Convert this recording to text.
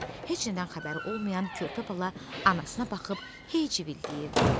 Heç nədən xəbəri olmayan körpə bala anasına baxıb hey civildəyirdi.